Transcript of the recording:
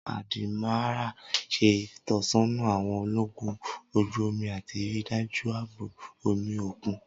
Awọn Admiral ṣe itọsọna awọn ologun oju omi ati rii daju aabo omi okun.